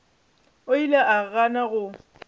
o ile a gana go